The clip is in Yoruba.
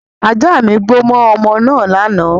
Ajá mi gbó mọ́ ọmọ naa lánàá